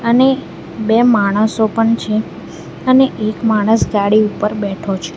અને બે માણસો પણ છે અને એક માણસ ગાડી ઉપર બેઠો છે.